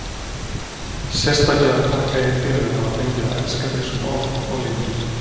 Sérstaklega þakka ég fyrir að hafa fengið að elska þig svona oft og lengi.